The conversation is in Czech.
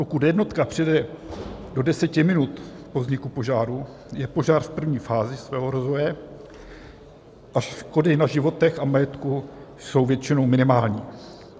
Pokud jednotka přijede do deseti minut po vzniku požáru, je požár v první fázi svého rozvoje a škody na životech a majetku jsou většinou minimální.